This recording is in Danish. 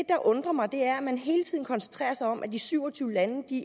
der undrer mig er at man hele tiden koncentrerer sig om at de syv og tyve lande